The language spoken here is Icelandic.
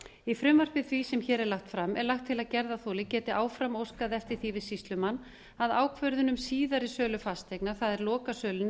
í frumvarpi því sem hér er lagt fram er lagt til að gerðarþoli geti áfram óskað eftir því við sýslumann að ákvörðun um síðari sölu fasteigna það er lokasölunni